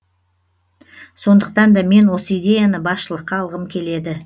сондықтан да мен осы идеяны басшылыққа алғым келеді